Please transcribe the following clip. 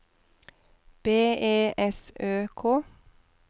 B E S Ø K